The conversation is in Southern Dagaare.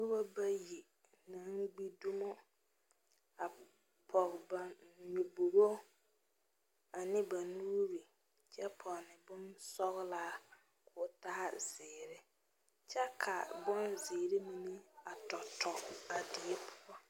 Noba bayi ka kaŋ gbi dumo a pɔge. ba nyɔbogo ane ba nuuri kyɛ ponne. bonsɔglaa kɔɔ taa zeɛre kyɛ ka bon zeɛre a tɔtɔ a die poɔ.